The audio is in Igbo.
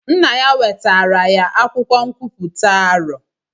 Nna ya wetara ya akwụkwọ nkwuputa arọ.